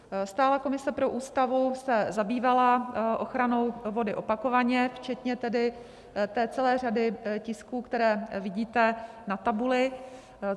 Stálá komise pro Ústavu se zabývala ochranou vody opakovaně včetně tedy té celé řady tisků, které vidíte na tabuli.